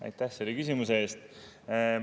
Aitäh selle küsimuse eest!